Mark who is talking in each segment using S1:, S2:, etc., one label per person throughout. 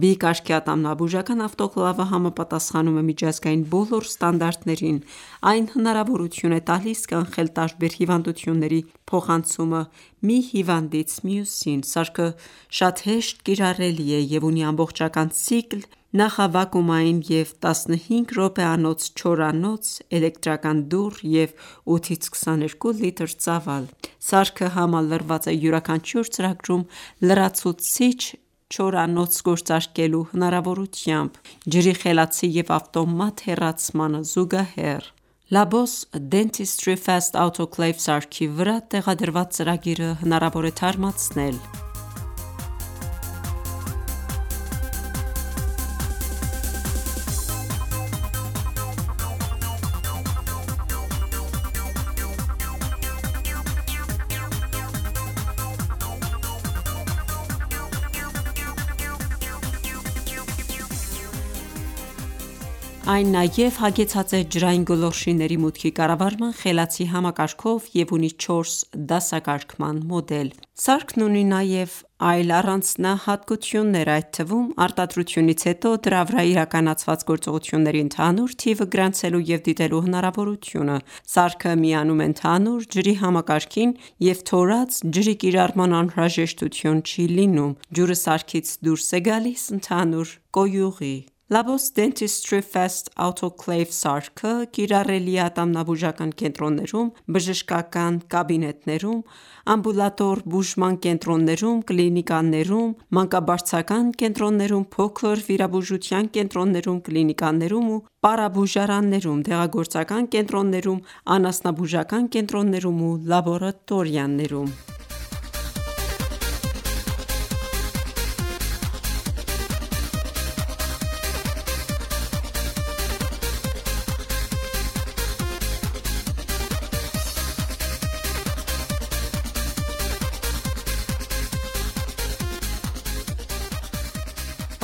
S1: B կարգի ատամնաբուժական ավտոկլավը համապատասխանում է միջազգային բոլոր ստանդարտներին: Այն հնարավորություն է տալիս կանխել տարբեր հիվանդությունների փոխանցումը մի հիվանդից մյուսին: Սարքը շատ հեշտ կիրառելի է և ունի ամբողջական ցիկլ՝ նախավակումային և 15 րոպեանոց չորանոց, էլեկտրական դուռ և 8-22 լիտր ծավալ: Սարքը համալրված է յուրաքանչյուր ծրագրում լրացուցիչ չորանոց գործարկելու հնարավորությամբ՝ ջրի խելացի և ավտոմատ հեռացմանը զուգահեռ: Labos Dentistry Fast Autoclave-ի սարքի վրա տեղադրված ծրագիրը հնարավոր է թարմացնել: Այն նաև հագեցած է ջրային գոլորշիների մուտքի կառավարման խելացի համակարգով և ունի 4 դասակարգման մոդել։ Սարքն ունի նաև այլ առանձնահատլկություններ, այդ թվում՝ արտադրությունից հետո դրա վրա իրականացված գործողությունների ընդհանուր թիվը գրանցելու և դիտելու հնարավորությունը: Սարքը միանում է ընդհանուր ջրի համակարգին և թորած ջրի կիրառման անհրաժեշտություն չի լինում: Ջուրը սարքից դուրս է գալսի ընդհանուր կոյուղի: Labos Dentistry Fast Autoclave սարքը կիրառելի է ատամնաբուժական կենտրոններում, բժշկական կաբինետներում, ամբուլատոր բուժման կենտրոններում, կլինիկաներում, մանկաբարձական կենտրոններում, փոքր վիրաբուժության կենտրոններում, կլինիկաներում ու պարաբուժարաններում, դեղագործական կենտրոններում, անասնաբուժական կենտրոններում ու լաբորատորիաներում: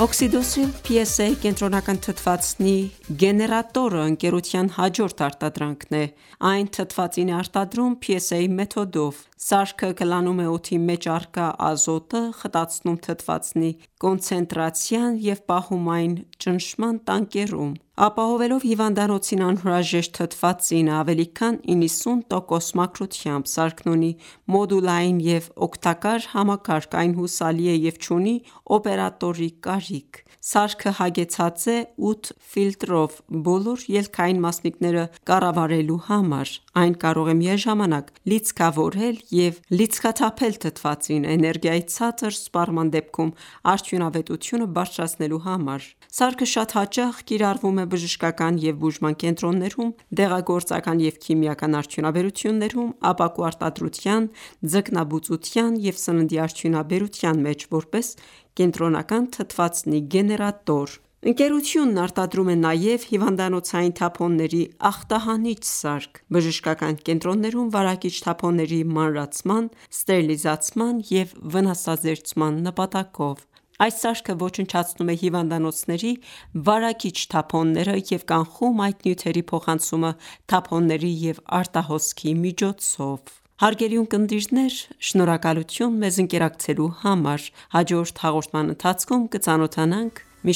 S1: OXYDOCILE-PSA կենտրոնական թթվածնի գեներատորը ընկերության հաջորդ արտադրանքն է: Այն թթվածին է արտադրում PSA մեթոդով: Սարքը կլանում է օդի մեջ առկա ազոտը, խտացնում թթվածնի կոնցենտրացիան և պահում այն ​​ճնշման տանկերում՝ ապահովելով հիվանդանոցին անհրաժեշտ թթվածինը ավելի քան 90% մաքրությամբ: Սարքն ունի մոդուլային և օգտակար համակարգ, այն հուսալի է և չունի օպերատորի կարիք: Սարքը հագեցած է ութ ֆիլտրով՝ բոլոր ելքային մասնիկները կառավարելու համար։ Այն կարող է միաժամանակ լիցքավորել և լիցքաթափել թթվածինը՝ էներգիայի ցածր սպառման դեպքում արդյունավետությունը բարձրացնելու համար։ Սարքը շատ հաճախ կիրառվում է բժշկական և բուժման կենտրոններում, դեղագործական և քիմիական արդյունաբերություններում, ապակու արտադրության, ձկնաբուծության և սննդի արդյունաբերության մեջ, որպես կենտրոնական թթվածնի գեներատոր: Ընկերությունն արտադրում է նաև հիվանդանոցային թափոնների ախտահանիչ սարք՝ բժշկական կենտրոններում վարակիչ թափոնների մանրացման, ստերիլիզացման և վնասազերծման նպատակով։ Այս սարքը ոչնչացնում է հիվանդանոցների վարակիչ թափոնները և կանխում այդ նյութերի փոխանցումը թափոնների և արտահոսքի միջոցով: Հարգելի ունկնդիրներ, շնորհակալություն մեզ ընկերակցելու համար։ Հաջորդ հաղորդման ընթացքում կծանոթանանք մի